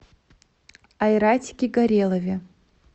айратике горелове